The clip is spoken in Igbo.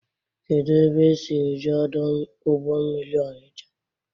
Kedụ ebe esi eje ọdọ ụgbọ mmiri Ọnicha?